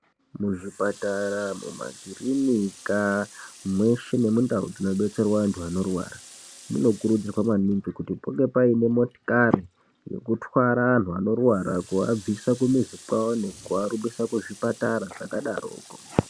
Muzvipatara mumakirinika mweshe nemundau dzinobetserwa antu anorwara munokurudzirwa maningi kuti munge painemotikari yekutwara anhu anorwara kuabvise kumizi kwavo nekuarumbise kuzvipatara zvakadaroko